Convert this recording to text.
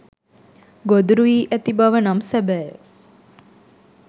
ගොදුරු වී ඇති බව නම් සැබෑය.